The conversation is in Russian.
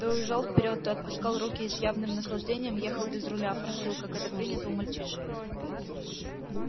то уезжал вперёд то отпускал руки и с явным наслаждением ехал без руля форсил как это принято у мальчишек